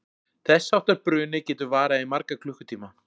Þess háttar bruni getur varað í marga klukkutíma.